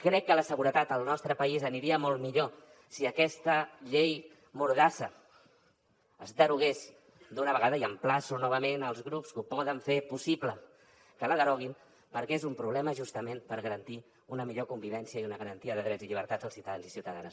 crec que la seguretat al nostre país aniria molt millor si aquesta llei mordassa es derogués d’una vegada i emplaço novament els grups que ho poden fer possible que la deroguin perquè és un problema justament per garantir una millor convivència i una garantia de drets i llibertats als ciutadans i ciutadanes